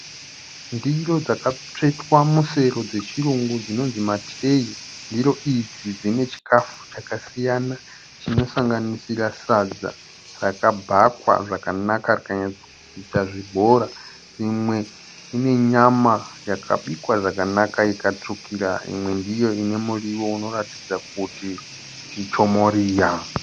Ndiro dzakatsvetwa musero dzechirungu dzinonzi matireyi. Ndiro idzi dzine chikafu chakasiyana chinosanganisira sadza rakabhakwa zvakanaka rikanyatsoita zvibhora. Imwe ine nyama yakabikwa zvakanaka ikatsvukira. Imwe ndiyo ine muriwo unoratidza kuti ichomoriya.